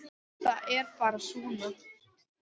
Það er bara svona!